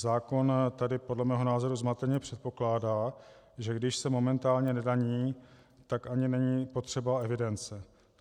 Zákon tady podle mého názoru zmateně předpokládá, že když se momentálně nedaní, tak ani není potřeba evidence.